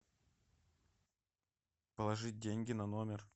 положить деньги на номер